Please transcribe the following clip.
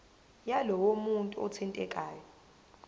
yalowo muntu othintekayo